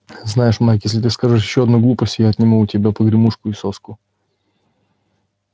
знаешь майк если ты скажешь ещё одну глупость я отниму у тебя погремушку и соску